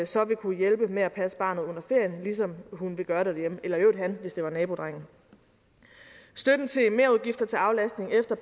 så vil kunne hjælpe med at passe barnet under ferien ligesom hun vil gøre det derhjemme eller i øvrigt han hvis det var nabodrengen støtten til merudgifter til aflastning efter